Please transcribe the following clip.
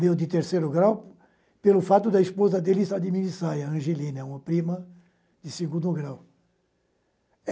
meu de terceiro grau, pelo fato da esposa dele estar de minissaia, Angelina, é uma prima de segundo grau.